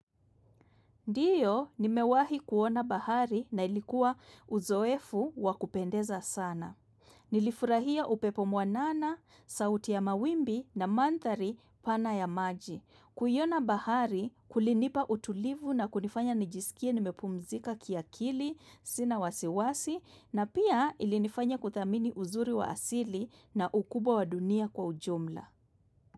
Ndiyo, nimewahi kuona bahari na ilikuwa uzoefu wa kupendeza sana. Nilifurahia upepo mwanana, sauti ya mawimbi na mandhari pana ya maji. Kuiona bahari, kulinipa utulivu na kunifanya nijisikie nimepumzika kiakili, sina wasiwasi, na pia ilinifanya kuthamini uzuri wa asili na ukubwa wa dunia kwa ujumla.